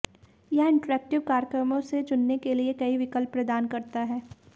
यह इंटरैक्टिव कार्यक्रमों से चुनने के लिए कई विकल्प प्रदान करता है